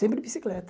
Sempre bicicleta.